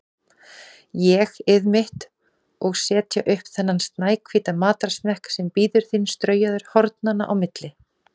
ÉG-ið mitt, og setja upp þennan snæhvíta matarsmekk sem bíður þín straujaður hornanna á milli.